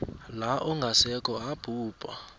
la ongasekho abhubha